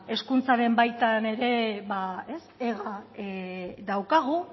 hezkuntzaren baitan ere ega daukagu